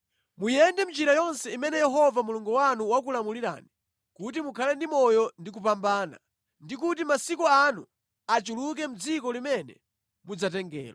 Muyende mʼnjira yonse imene Yehova Mulungu wanu wakulamulirani kuti mukhale ndi moyo ndi kupambana, ndi kuti masiku anu achuluke mʼdziko limene mudzatengelo.